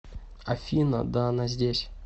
афина да она здесь